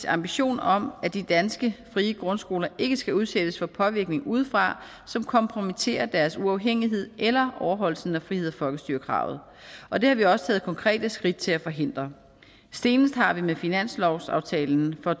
ambition om at de danske frie grundskoler ikke skal udsættes for påvirkninger udefra som kompromitterer deres uafhængighed eller overholdelsen af frihed og folkestyre kravet og det har vi også taget konkrete skridt til at forhindre senest har vi med finanslovsaftalen for